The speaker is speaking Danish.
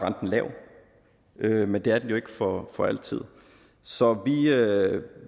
lav men det er den jo ikke for for altid så